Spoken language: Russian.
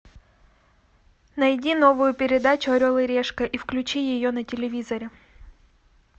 найди новую передачу орел и решка и включи ее на телевизоре